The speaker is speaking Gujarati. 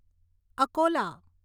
અકોલા